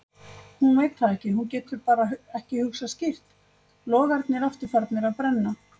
Hún veit það ekki, hún getur ekki hugsað skýrt, logarnir aftur farnir að brenna.